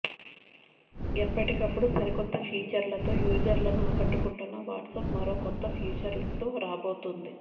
ఎప్పటికప్పుడు సరికొత్త ఫీచర్లతో యూజర్లను ఆకట్టుకుంటున్న వాట్సాప్ మరో కొత్త ఫీచర్తో రాబోతుంది